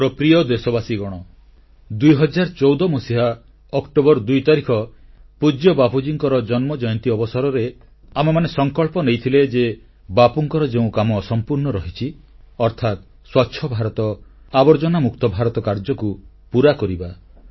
ମୋର ପ୍ରିୟ ଦେଶବାସୀଗଣ 2014 ମସିହା ଅକ୍ଟୋବର 2 ତାରିଖ ପୂଜ୍ୟ ବାପୁଜୀଙ୍କ ଜନ୍ମ ଜୟନ୍ତୀ ଅବସରରେ ଆମେମାନେ ସଂକଳ୍ପ ନେଇଥିଲେ ଯେ ବାପୁଙ୍କର ଯେଉଁ କାମ ଅସମ୍ପୂର୍ଣ୍ଣ ରହିଛି ଅର୍ଥାତ୍ ସ୍ୱଚ୍ଛ ଭାରତ ଆବର୍ଜନା ମୁକ୍ତ ଭାରତ କାର୍ଯ୍ୟକୁ ପୁରା କରିବା